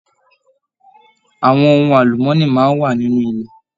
Àwọn ohùn alumọni máa n wà nínú ilẹ̀.